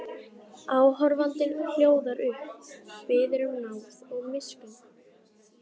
Áhorfandinn hljóðar upp, biður um náð og miskunn.